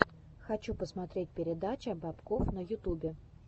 хочу посмотреть передача бобкофф на ютубе